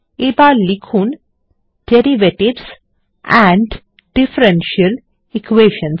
এবার লিখুন derivatives and differential Equations